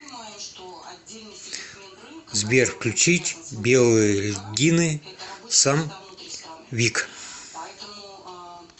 сбер включить белые льдины сам вик